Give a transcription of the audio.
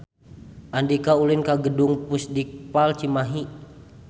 Andika ulin ka Gedung Pusdikpal Cimahi